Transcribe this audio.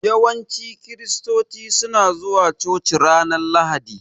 Yawanci kiristoci suna zuwa coci ranar Lahadi.